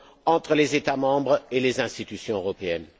entre les États membres et les institutions européennes.